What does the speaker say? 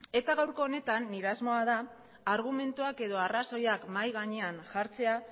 eta gaurko honetan nire asmoa da argumentuak edo arrazoiak mahai gainean jartzea